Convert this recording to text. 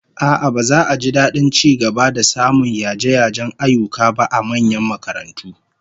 A'a, baza a ji dadin ci gaba da samun yaje-yajen ayyuka ba a manyan makarantu